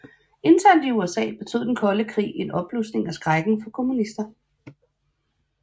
Internt i USA betød den kolde krig en opblusning af skrækken for kommunister